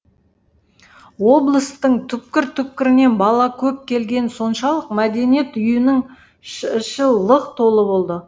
облыстың түпкір түпкірінен бала көп келгені соншалық мәдениет үйінің іші лық толы болды